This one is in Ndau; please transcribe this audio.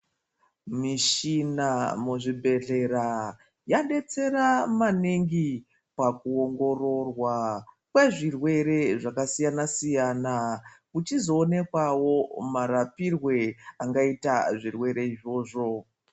Mishina muzvibhedhlera yadetsera maningi, pakuongororwa kwezvirwere zvakasiyana-siyana kuchizionekawo marapirwe angaita zvirwere izvozvo.